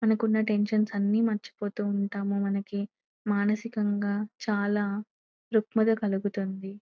మనకున్న టెన్షన్స్ అన్ని మర్చిపోతు ఉంటాం మనకి మానసికంగా చాలా దృక్పధ కలుగుతుంది.